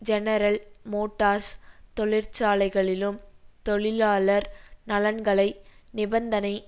general Motors தொழிற்சாலைகளிலும் தொழிலாளர் நலன்களை நிபந்தனை